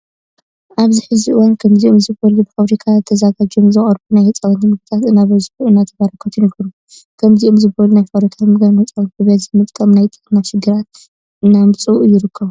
ኣብዚ ሕዚ እዋን ከምዝኦም ዝበሉ በፋብሪካታት ተዘጋጅዮም ዝቀርቡ ናይ ህፃውንቲ ምግብታት እናበዝሑን እናተበራከቱን ይርከቡ። ከምዚኦም ዝበሉ ናይ ፋብሪካ ምግብታት ንህፃውንቲ ብበዝሒ ምጥቃም ናይ ጥዕና ሽግራት እናመፅኡ ይርከቡ።